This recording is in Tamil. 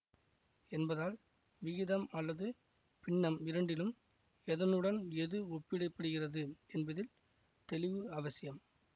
என்பதால் விகிதம் அல்லது பின்னம் இரண்டிலும் எதனுடன் எது ஒப்பிடப்படுகிறது என்பதில் தெளிவு அவசியம்